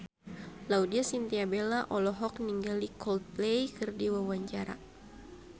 Laudya Chintya Bella olohok ningali Coldplay keur diwawancara